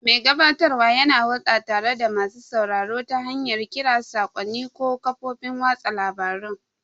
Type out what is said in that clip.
Mai gabatarwa yana hulɗa tare da masu sauraro ta hanyar kira, saƙonni, ko kafofin watsa labarun.